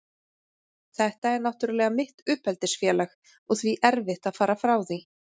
Þetta er náttúrlega mitt uppeldisfélag og því erfitt að fara frá því.